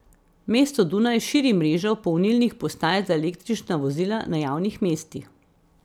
Mesto Dunaj širi mrežo polnilnih postaj za električna vozila na javnih mestih.